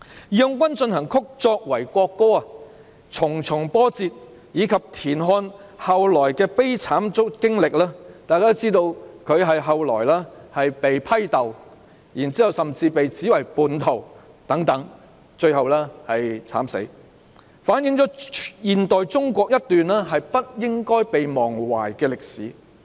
"義勇軍進行曲"作為國歌的重重波折，以及田漢後來的悲慘經歷——大家都知道，他後來遭到批鬥，甚至被指為叛徒，最後在獄中慘死——反映了現代中國一段不應被忘懷的歷史。